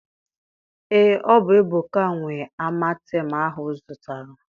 Ee, ọ bụ Ebuka nwe amatem ahụ m zụtara.